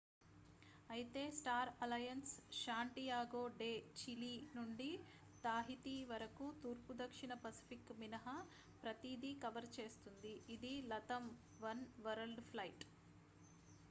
అయితే star alliance Santiago de Chile నుండి Tahiti వరకు తూర్పు దక్షిణ పసిఫిక్ మినహా ప్రతీదీ కవర్ చేస్తుంది ఇది latam వన్ వరల్డ్ ఫ్లైట్